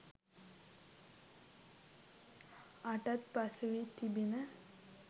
අටත් පසුවී තිබිණ.